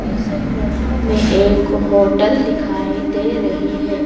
इस फोटो में एक होटल दिखाई दे रही है।